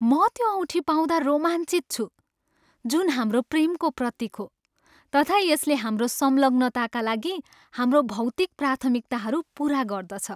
म त्यो औँठी पाउँदा रोमाञ्चित छु जुन हाम्रो प्रेमको प्रतीक हो तथा यसले हाम्रो सङ्लग्नताका लागि हाम्रो भौतिक प्राथमिकताहरू पुरा गर्दछ।